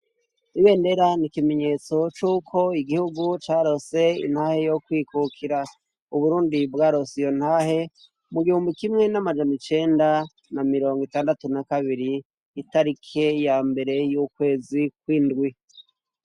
Ibendera ni ikimenyetso c'uko igihugu caronse intahe yo kwikukira. Uburundi bwaronse iyo ntahe mu gihumbi kimwe n'amajana icenda na mirongo itandatu na kabiri itarike ya mbere y'ukwezi kw'indwi.